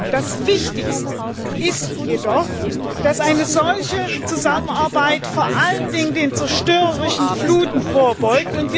Das Wichtigste ist jedoch, dass eine solche Zusammenarbeit vor allen Dingen den zerstörerischen Fluten vorbeugt.